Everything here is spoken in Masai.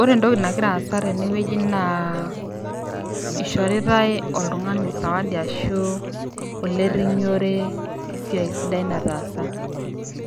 Ore entoki nagira aasa tenewueji naa ishoritae oltung'ani sawadi arashu olerrinyore lesiai sidai nataasa